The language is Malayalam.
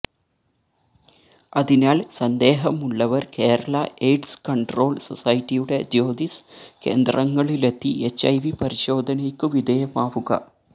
അതിനാല് സന്ദേഹമുളളവര് കേരള എയ്ഡ്സ് കണ്ട്രോള് സൊസൈറ്റിയുടെ ജ്യോതിസ് കേന്ദ്രങ്ങളിലെത്തി എച്ച്ഐവി പരിശോധനയ്ക്കു വിധേയമാവുക